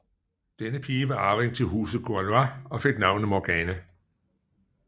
Denne pige var arving til Huset Gorlois og fik navnet Morgana